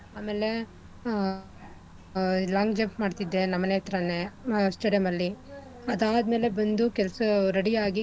ಆಮೇಲೆ ಆ long jump ಮಾಡ್ತಿದ್ದೆ ನಮ್ಮನೆ ಹತ್ರನೆ stadium ಅಲ್ಲಿ ಅದ್ ಆದ್ಮೇಲೆ ಬಂದು ಕೆಲ್ಸ ready ಆಗಿ,